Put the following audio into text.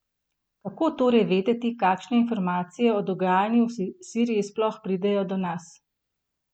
Kako torej vedeti, kakšne informacije o dogajanju v Siriji sploh pridejo do nas?